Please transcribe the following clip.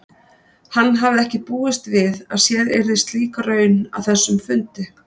Hann hafði ekki búist við að sér yrði slík raun að þessum fundi.